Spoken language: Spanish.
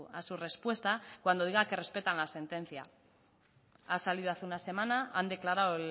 a su respuesta cuando diga que respetan la sentencia ha salido hace una semana han declarado